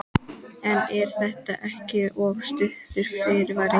En er þetta ekki of stuttur fyrirvari?